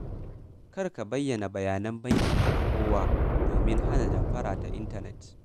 Kar ka bayyana bayanan bankinka ga kowa domin hana damfara ta intanet.